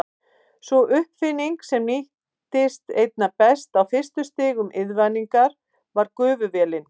Sú uppfinning sem nýttist einna best á fyrstu stigum iðnvæðingar var gufuvélin.